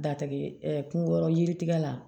Datigɛ kungolo yiritigɛ la